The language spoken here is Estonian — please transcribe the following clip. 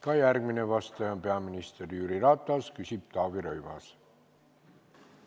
Ka järgmine vastaja on peaminister Jüri Ratas, küsib Taavi Rõivas.